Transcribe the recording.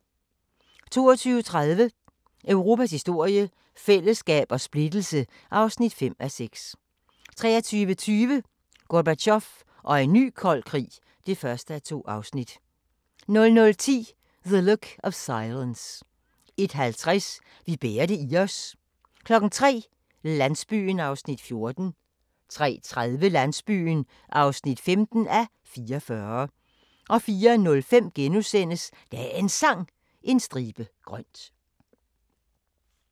22:30: Europas historie – fællesskab og splittelse (5:6) 23:20: Gorbatjov og en ny kold krig (1:2) 00:10: The Look of Silence 01:50: Vi bærer det i os 03:00: Landsbyen (14:44) 03:30: Landsbyen (15:44) 04:05: Dagens Sang: En stribe grønt *